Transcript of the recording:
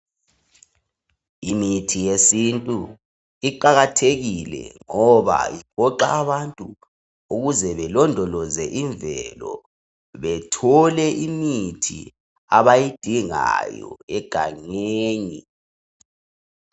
Imithi yesintu iqakathekile ngoba iphoqa abantu ukuze belondoloze imvelo, bethole imithi abayidingayo egangeni.